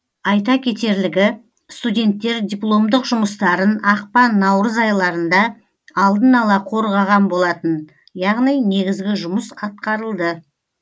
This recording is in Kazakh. айта кетерлігі студенттер дипломдық жұмыстарын ақпан наурыз айларында алдын ала қорғаған болатын яғни негізгі жұмыс атқарылды